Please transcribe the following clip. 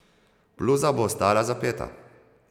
Bluza bo ostala zapeta.